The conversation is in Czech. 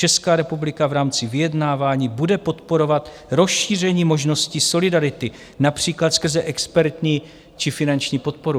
Česká republika v rámci vyjednávání bude podporovat rozšíření možností solidarity například skrze expertní či finanční podporu.